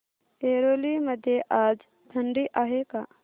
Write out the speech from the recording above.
ऐरोली मध्ये आज थंडी आहे का